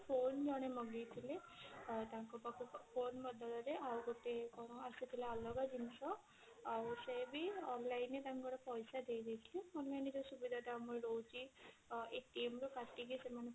phone ଜଣେ ମଗେଇଥିଲେ ତାଙ୍କ ପାଖକୁ phone ବଦଳ ରେ ଆଉ ଗୋଟେ କଣ ଆସିଥିଲା ଅଲଗା ଜିନିଷ ଆଉ ସେ ବି online ରେ ତାଙ୍କର ପଇସା ଦେଇ ଦେଇଥିଲେ online ରେ ଯଉ ସୁବିଧା ତ ଆମର ରହୁଛି ରୁ କାଟିକି ସେମାନେ